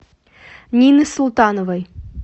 нины султановой